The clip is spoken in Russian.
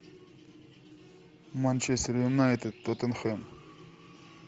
манчестер юнайтед тоттенхэм